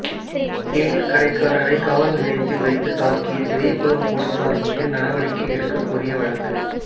தேநீா் கடைக்காரரை காவல் நிலையத்தில் வைத்து தாக்கிய பெரியகுளம் போலீஸாா் மீது நடவடிக்கை கோரிய வழக்கு